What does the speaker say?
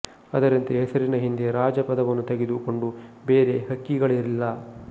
ಅದರಂತೆ ಹೆಸರಿನ ಹಿಂದೆ ರಾಜ ಪದವನ್ನು ತೆಗೆದು ಕೊಂಡ ಬೇರೆ ಹಕ್ಕಿಗಳಿಲ್ಲ